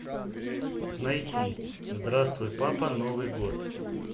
найти здравствуй папа новый год